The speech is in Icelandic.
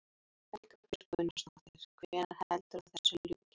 Erla Björg Gunnarsdóttir: Hvenær heldurðu að þessu ljúki?